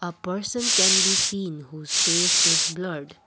a person can be seen whose face is blurred